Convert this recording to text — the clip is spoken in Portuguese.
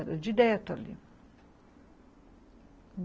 Era direto ali.